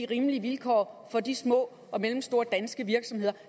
rimelige vilkår for de små og mellemstore danske virksomheder